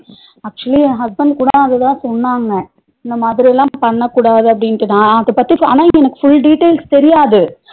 Actually என் husband கூட அதுதா சொன்னாங்க இந்தமாதிரி எல்லாம் பண்ணக்கூடாது அப்டின்ட்டுதா அதபத்தி ஆனா எனக்கு full details தெரியாது